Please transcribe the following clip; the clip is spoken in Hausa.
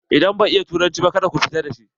Idan bai iya turanci ba ka da ku fita da shi!